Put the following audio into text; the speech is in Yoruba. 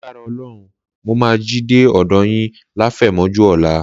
Lágbára Ọlọ́run mo máa jí dé ọ̀dọ yín láfẹ̀mọ́jú ọ̀la.